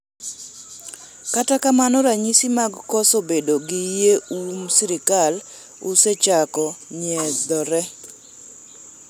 kata kamano ranyisi mag koso bedo gi yie uom sirikal osechako nyiedhore